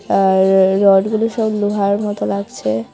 আর র-র-রডগুলো সব লোহার মতো লাগছে।